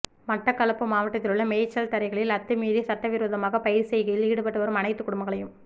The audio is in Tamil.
மட்டக்களப்பு மாவட்டத்திலுள்ள மேய்ச்சல் தரைகளில் அத்துமீறி சட்டவிரோதமாக பயிர்ச் செய்கையில் ஈடுபட்டுவரும் அனைத்து குடும்பங்களையும்